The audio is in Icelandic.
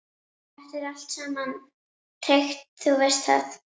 Þetta er allt saman tryggt, þú veist það.